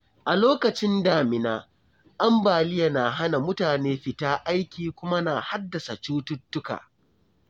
A lokacin damina, ambaliya na hana mutane fita aiki kuma na haddasa cututtuka.